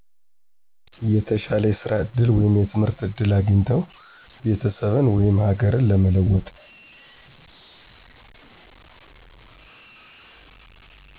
የተሻለ የስራ እድል ወይም የትምህርት እድል አግኝተው ቤተሰብን፣ ወይም ሀገርን ለመለወጥ።